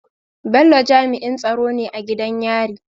Bello jami'in tsaro ne a gidan yari